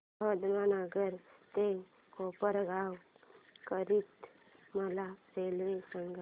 अहमदनगर ते कोपरगाव करीता मला रेल्वे सांगा